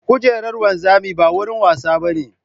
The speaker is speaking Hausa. Kujerar wanzami ba wurin wasa ba ne.